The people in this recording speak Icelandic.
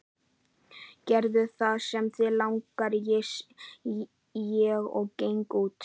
Gerðu það sem þig langar, segi ég og geng út.